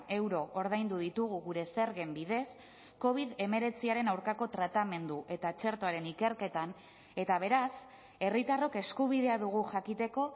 euro ordaindu ditugu gure zergen bidez covid hemeretziaren aurkako tratamendu eta txertoaren ikerketan eta beraz herritarrok eskubidea dugu jakiteko